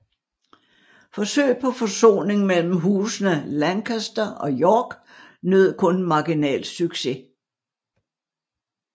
Forsøg på forsoning mellem husene Lancaster og York nød kun marginal succes